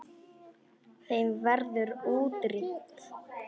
Þeim verður útrýmt.